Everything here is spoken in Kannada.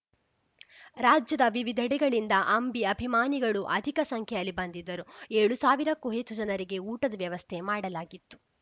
ರಾಜ್ಯದವಿವಿಧೆಡೆಗಳಿಂದ ಅಂಬಿ ಅಭಿಮಾನಿಗಳು ಅಧಿಕ ಸಂಖ್ಯೆಯಲ್ಲಿ ಬಂದಿದ್ದರು ಏಳು ಸಾವಿರಕ್ಕೂ ಹೆಚ್ಚು ಜನರಿಗೆ ಊಟದ ವ್ಯವಸ್ಥೆ ಮಾಡಲಾಗಿತ್ತು